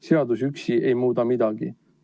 Seadus üksi ei muuda midagi.